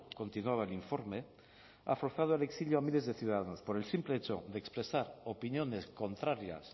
continuaba el informe ha forzado al exilio a miles de ciudadanos por el simple hecho de expresar opiniones contrarias